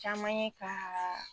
Caman ye ka